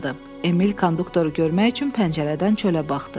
Emil konduktoru görmək üçün pəncərədən çölə baxdı.